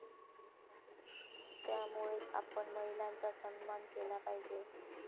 त्यामुळेच आपण महिलांचा सन्मान केला पाहिजे.